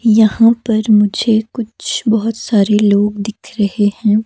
यहाँ पर मुझे कुछ बहुत सारे लोग दिख रहे हैं।